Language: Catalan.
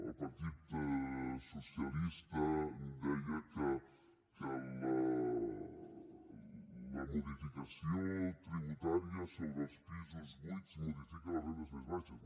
el partit socialista deia que la modificació tributària sobre els pisos buits modifica les rendes més baixes